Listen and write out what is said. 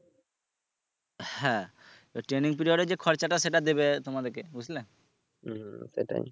হ্যাঁ training period যে খরচা টা সেটা দিবে তোমাদেরকে বুঝলে